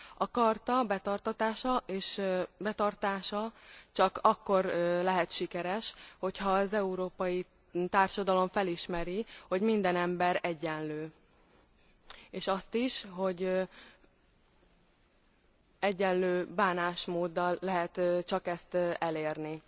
A Charta betartatása és betartása csak akkor lehet sikeres, ha az európai társadalom felismeri, hogy minden ember egyenlő, és azt is, hogy egyenlő bánásmóddal lehet csak ezt elérni.